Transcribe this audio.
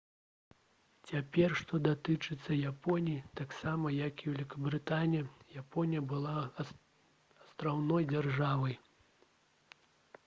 цяпер што датычыцца японіі таксама як і вялікабрытанія японія была астраўной дзяржавай